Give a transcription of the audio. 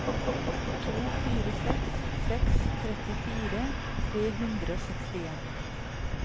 to fire seks seks trettifire tre hundre og sekstien